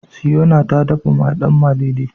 Siyona ta dafa danmalele.